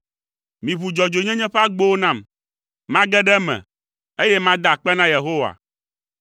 Miʋu dzɔdzɔenyenye ƒe agbowo nam, mage ɖe eme, eye mada akpe na Yehowa.